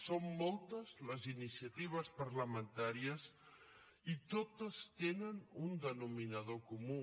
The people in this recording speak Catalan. són moltes les iniciatives parlamentàries i totes tenen un denominador comú